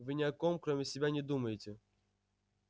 вы ни о ком кроме себя не думаете